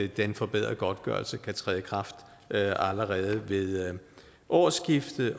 den forbedrede godtgørelse kan træde i kraft allerede ved årsskiftet